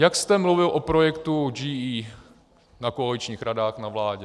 Jak jste mluvil o projektu GE na koaličních radách, na vládě.